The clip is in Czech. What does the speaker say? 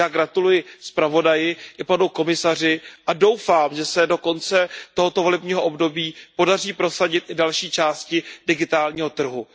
Takže já gratuluji zpravodaji i panu komisaři a doufám, že se do konce tohoto volebního období podaří prosadit i další části digitálního trhu.